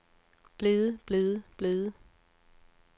blevet blevet blevet